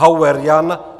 Hauer Jan